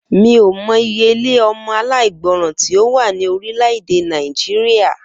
Mi ò mo̩ iye ilé o̩mo̩ aláìgbo̩ràn tí ó wà ní orílè̩-èdè Nàìjíríà